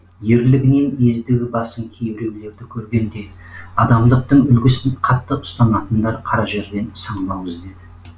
ерлігінен ездігі басым кейбіреулерді көргенде адамдықтың үлгісін қатты ұстанатындар қара жерден саңлау іздеді